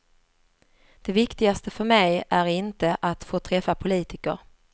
Det viktigaste för mig är inte att få träffa politiker.